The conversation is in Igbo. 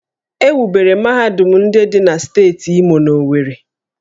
E wubere mahadum ndị dị na steeti Imo n'Owerri